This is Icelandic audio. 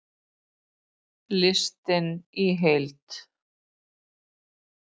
Listinn í heild